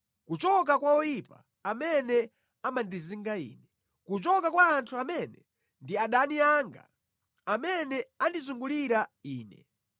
kuchoka kwa oyipa amene amandizinga ine, kuchoka kwa anthu amene ndi adani anga, amene andizungulira ine.